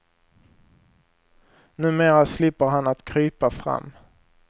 Numera slipper han att krypa fram.